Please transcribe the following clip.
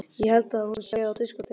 Ég held að hún sé á diskótekinu.